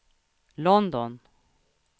London